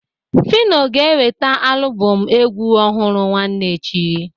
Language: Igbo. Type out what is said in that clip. Fino ga-eweputa alụbọm egwu ọhụrụ nwanne echi.